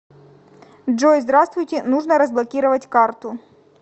джой здравствуйте нужно разблокировать карту